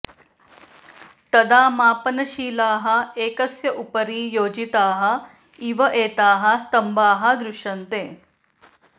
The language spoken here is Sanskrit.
तदा मापनशिलाः एकस्य उपरि योजिताः इव एताः स्तम्भाः दृश्यन्ते